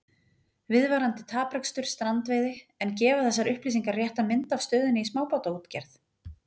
Viðvarandi taprekstur strandveiði En gefa þessar upplýsingar rétta mynd af stöðunni í smábátaútgerð?